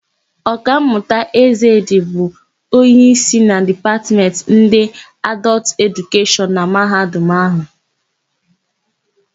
Ọkammụta Ezedị bụ onyeísí na Dipatmentị ndị Adọltụ Edukeshọn na Mahadum áhụ̀.